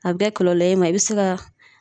A bɛ kɛ kɔlɔlɔ ye i ma, i bɛ se ka